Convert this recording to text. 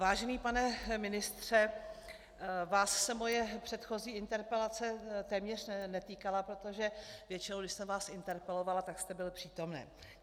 Vážený pane ministře, vás se moje předchozí interpelace téměř netýkala, protože většinou, když jsem vás interpelovala, tak jste byl přítomen.